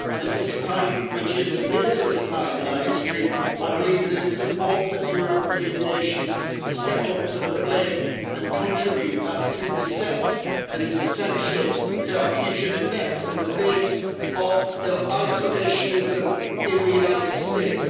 And at this time, which is a dangerous time in our history, I believe that it's important that European nations step up to the plate and contribute that 2 that is essential to our future defence in the face of isolationism in the United States.